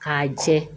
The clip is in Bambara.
K'a jɛ